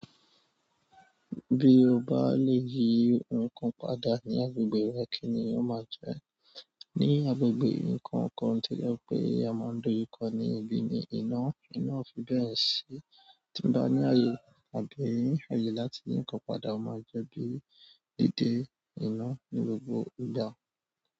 Bí o bá lè yí nǹkan padà ní agbègbè rẹ kíni ó máa jẹ́? Ní agbègbè nǹkan kan tí jẹ pé a máa ń dojú kọ ní ibí ní iná, iná o fi bẹ́ẹ̀ ṣi. Ti n ba ni ààyè, tàbí ààyè láti yi nǹkan padà mo maa jẹ ki ina de ni gbogbo ìgbà.